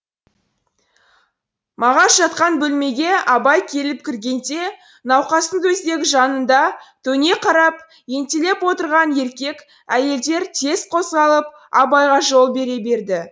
мағаш жатқан бөлмеге абай келіп кіргенде науқастың төсегі жанында төне қарап ентелеп отырған еркек әйелдер тез қозғалып абайға жол бере берді